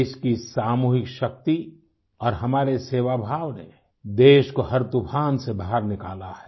देश की सामूहिक शक्ति और हमारे सेवाभाव ने देश को हर तूफ़ान से बाहर निकाला है